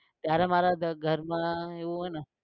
ત્યારે મારે ઘરમાં એવું હોયને કે